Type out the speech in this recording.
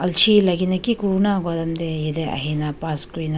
chii lagi ne ki kuri bo na koa time teh yate ahina pass kuri na--